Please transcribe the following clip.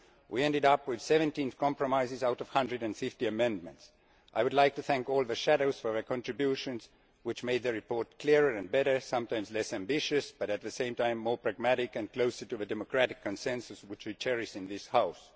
We ended up with 17 compromises out of 150 amendments. I would like to thank all the shadows for their contributions, which made the report clearer and better, sometimes less ambitious but at the same time more pragmatic and closer to the democratic consensus which we cherish in this House.